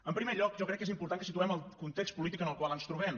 en primer lloc jo crec que és important que situem el context polític en el qual ens trobem